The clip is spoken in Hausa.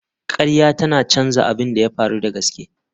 Ƙarya tana canza abin da ya faru da gaske.